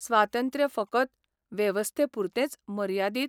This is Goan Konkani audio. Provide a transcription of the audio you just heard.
स्वातंत्र्य फकत वेवस्थे पुरतेंच मर्यादीत?